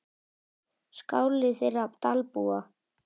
Skáli þeirra Dalbúa.